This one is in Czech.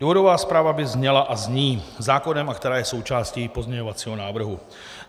Důvodová zpráva by zněla a zní - zákonem... a která je součástí pozměňovacího návrhu.